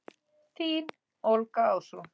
Þín Olga Ásrún.